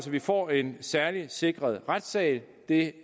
vi får en særligt sikret retssal og det